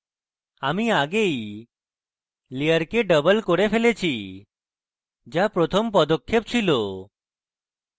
আমি আগেই layer double করে ফেলেছি যা প্রথম পদক্ষেপ ছিল